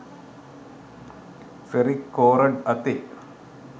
ferric කෝරඩ් අතේ